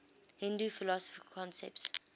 hindu philosophical concepts